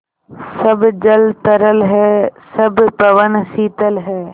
सब जल तरल है सब पवन शीतल है